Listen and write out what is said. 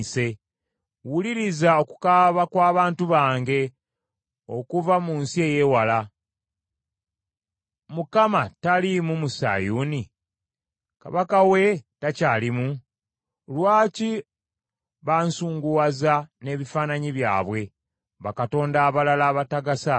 Wuliriza okukaaba kw’abantu bange okuva mu nsi ey’ewala. “ Mukama taliimu mu Sayuuni? Kabaka we takyalimu?” “Lwaki bansunguwaza n’ebifaananyi byabwe, bakatonda abalala abatagasa?”